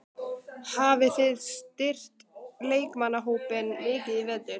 Hafið þið styrkt leikmannahópinn mikið í vetur?